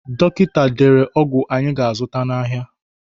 Dọkịta dere ọgwụ anyị ga-azụta n'ahịa.